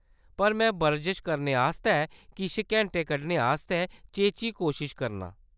पर में बरजश करने आस्तै किश घैंटे कड्ढने आस्तै चेची कोशश करनां।